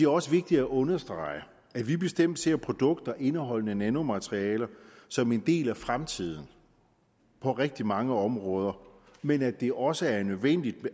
også vigtigt at understrege at vi bestemt ser produkter indeholdende nanomaterialer som en del af fremtiden på rigtig mange områder men at det også er nødvendigt